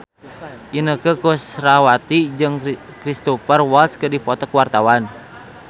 Inneke Koesherawati jeung Cristhoper Waltz keur dipoto ku wartawan